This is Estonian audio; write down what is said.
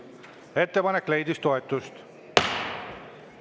Ettepanek leidis toetust.